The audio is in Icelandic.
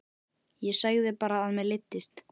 Ég sagði bara að mér leiddist.